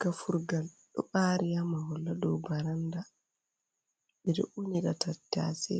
Gafurgal ɗo ɓari ha mahol ha dou baranda, ɓe ɗo unira tattase,